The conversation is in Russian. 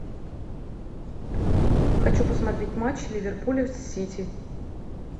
хочу посмотреть матч ливерпуля с сити